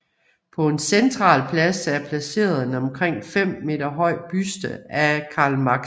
På en central plads er placeret en omkring 5 meter høj buste af Karl Marx